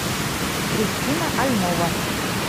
кристина альнова